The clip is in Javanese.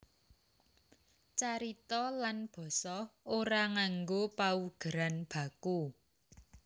Carita lan basa ora nganggo paugeran baku